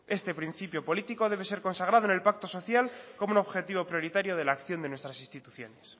este principio político debe ser consagrado en el pacto social como un objetivo prioritario de la acción de nuestras instituciones